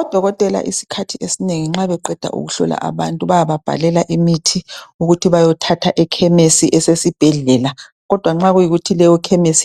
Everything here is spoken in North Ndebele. Odokotela isikhathi esinengi nxa beqeda ukuhlola abantu bayababhalela imithi ukuthi bayothatha ekhemesi esesibhedlela kodwa nxa kuyikuthi